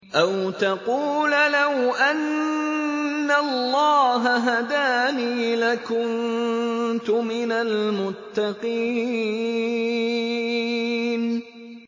أَوْ تَقُولَ لَوْ أَنَّ اللَّهَ هَدَانِي لَكُنتُ مِنَ الْمُتَّقِينَ